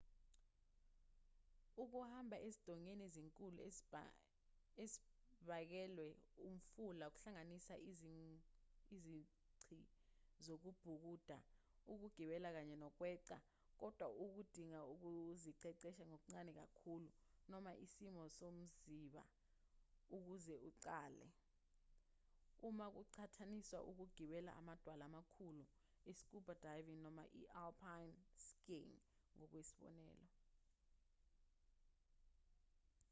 ukuhamba ezindongeni ezinkulu ezibangelwe umfula kuhlanganisa izici zokubhukuda ukugibela kanye nokweqa-- kodwa kudinga ukuziqeqesha okuncane kakhulu noma isimo somziba ukuze uqale uma kuqhathaniswa nokugibela amadwala amakhulu i-scuba diving noma i-alpine skiing ngokwesibonelo